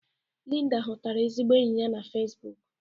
Linda hutara ezigbo enyi ya na fezibuku.